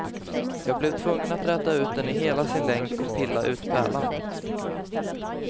Jag blev tvungen att räta ut den i hela sin längd och pilla ut pärlan.